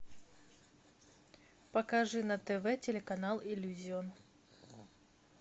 покажи на тв телеканал иллюзион